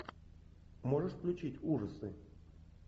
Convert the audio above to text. можешь включить ужасы